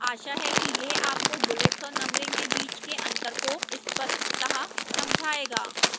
आशा है कि यह आपको bullets और numbering के बीच के अंतर को स्पष्टतः समझाएगा